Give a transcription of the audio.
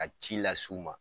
Ka ci las'u ma